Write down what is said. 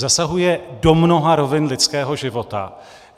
Zasahuje do mnoha rovin lidského života.